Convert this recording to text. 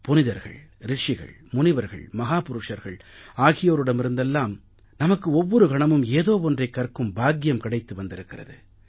புனிதர்கள் ரிஷிகள் முனிவர்கள் மஹாபுருஷர்கள் ஆகியோரிடமிருந்தெல்லாம் நமக்கு ஒவ்வொரு கணமும் ஏதோ ஒன்றைக் கற்கும் பாக்கியம் கிடைத்து வந்திருக்கிறது